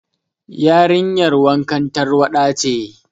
Yarinyar wankan tarwaɗa ce.